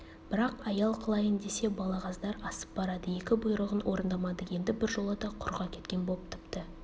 бірақ аял қылайын десе балағаздар асып барады екі бұйрығын орындамады енді біржолата құрық әкеткен боп тіпті